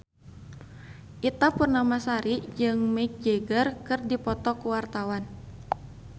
Ita Purnamasari jeung Mick Jagger keur dipoto ku wartawan